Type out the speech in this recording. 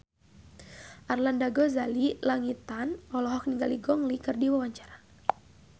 Arlanda Ghazali Langitan olohok ningali Gong Li keur diwawancara